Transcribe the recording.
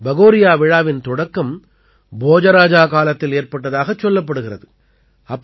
பகோரியா விழாவின் தொடக்கம் போஜ ராஜா காலத்தில் ஏற்பட்டதாகச் சொல்லப்படுகிறது